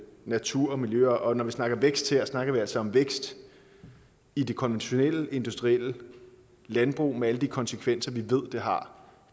natur og miljø og når vi snakker vækst her snakker vi altså om vækst i det konventionelle industrielle landbrug med alle de konsekvenser vi ved det har